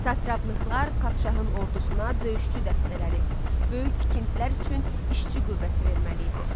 Satraplıqlar padşahın ordusuna döyüşçü dəstələri, böyük tikintilər üçün işçi qüvvəsi verməli idi.